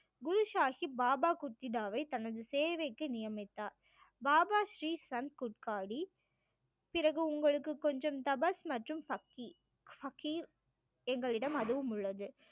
குரு சாஹிப் பாபா குர்தித்தாவை தனது சேவைக்கு நியமித்தார் பாபா ஸ்ரீ சந்த் குட்காடி பிறகு உங்களுக்கு கொஞ்சம் தபஸ் மற்றும் எங்களிடம் அதுவும் உள்ளது